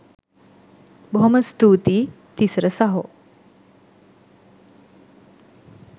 බොහොම ස්තූතියි තිසර සහෝ